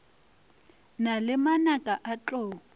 na le manaka a tlou